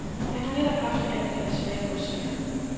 Han har netop haft et anfald af svære brystsmerter.